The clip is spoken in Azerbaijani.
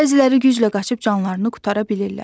Bəziləri güclə qaçıb canlarını qurtara bilirlər.